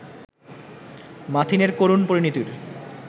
মাথিনের করুণ পরিণতির